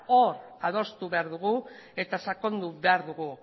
hor adostu behar dugu eta sakondu behar dugu